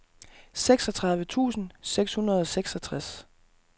seksogtredive tusind seks hundrede og seksogtres